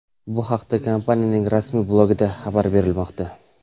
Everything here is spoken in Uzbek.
Bu haqda kompaniyaning rasmiy blogida xabar berilmoqda .